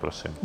Prosím.